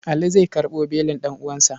Ali zai karɓo belin ɗan'uwansa.